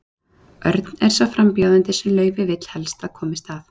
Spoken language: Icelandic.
Örn er sá frambjóðandi sem Laufey vill helst að komist að.